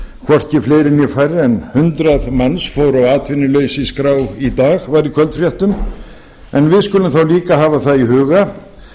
hvorki fleiri né færri en hundrað manns fóru á atvinnuleysisskrá í dag og var í kvöldfréttum en við skulum þá líka hafa það í huga